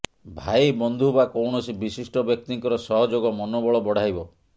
ଭାଇ ବନ୍ଧୁ ବା କୌଣସି ବିଶିଷ୍ଟ ବ୍ୟକ୍ତିଙ୍କର ସହଯୋଗ ମନୋବଳ ବଢ଼ାଇବ